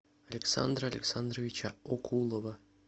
александра александровича окулова